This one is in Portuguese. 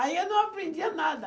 Aí eu não aprendia nada.